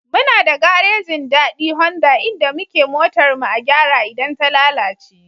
Muna da garejin Dadi Honda inda muke motar mu a gyara idan ta lalace.